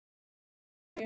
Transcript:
Hitið pönnu með olíu.